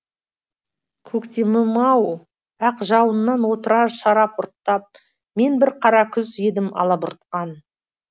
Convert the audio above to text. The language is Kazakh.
көктемім ау ақ жауыннан отырар шарап ұрттап мен бір қара күз едім алабұртқан